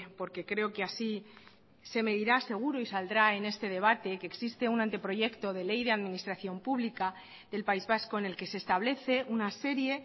porque creo que así se medirá seguro y saldrá en este debate que existe un anteproyecto de ley de administración pública del país vasco en el que se establece una serie